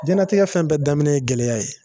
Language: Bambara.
Jɛnatigɛ fɛn bɛɛ daminɛ ye gɛlɛya ye